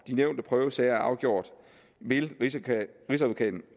de nævnte prøvesager er afgjort vil rigsadvokaten